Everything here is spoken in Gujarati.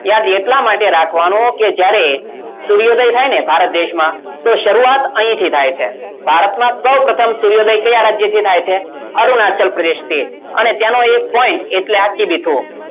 યાદ એટલા માટે રાખવાનું કે જ્યારે સૂર્યોદય થાય ને ભારત દેશમાં તો શરૂઆત અહીંથી થાય છે ભારતમાં સૌપ્રથમ સૂર્યોદય કયા રાજ્ય થી થાય છે અરુણાચલ પ્રદેશથી અને ત્યાંનો એક point એટલે આ કિબીથુ